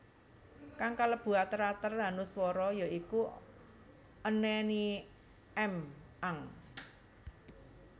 Kang kalebu ater ater hanuswara ya iku an any am ang